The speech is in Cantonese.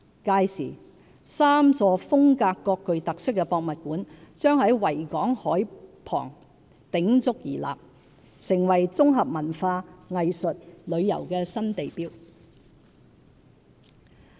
屆時 ，3 座風格各具特色的博物館將在維港海濱鼎足而立，成為綜合文化、藝術、旅遊的新地標。